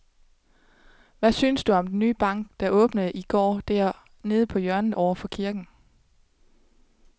Hvad synes du om den nye bank, der åbnede i går dernede på hjørnet over for kirken?